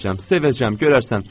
Sevəcəm, görərsən.